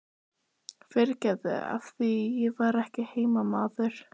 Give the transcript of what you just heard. MATTHÍAS: Fyrirgefðu, af því ég er ekki heimamaður.